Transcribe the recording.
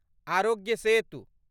Aarogya Setu